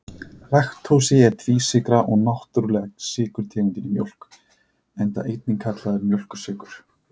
Laktósi er tvísykra og náttúrulega sykurtegundin í mjólk, enda einnig kallaður mjólkursykur.